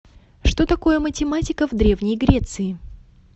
что такое математика в древней греции